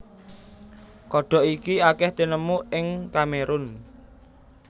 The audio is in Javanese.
Kodhok iki akèh tinemu ing Kamerun